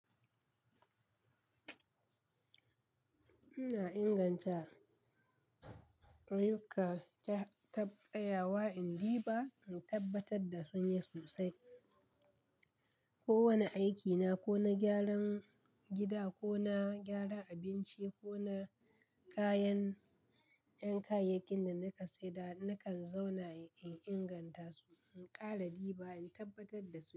Ina inganta ayyukan taftsaya wa in riba in tabbatar da sun yi sosai. Ko wane aikina, ko na gyaran gida ko na gyaran abinci ko na kayan 'yan kayayyakin da na kasada, nakan zauna in inganta su in ƙara riba in tabbatar da su.